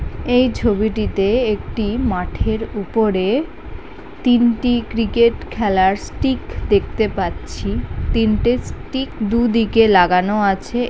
এই ছবিটিতে একটি মাঠের উপরে তিনটি ক্রিকেট খেলার স্টিক দেখতে পাচ্ছি তিনটে স্টিক দু দিকে লাগানো আছে ।